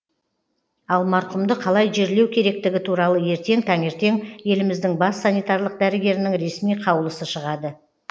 ал марқұмды қалай жерлеу керектігі туралы ертең таңертең еліміздің бас санитарлық дәрігерінің ресми қаулысы шығады